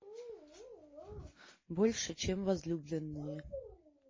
больше чем возлюбленные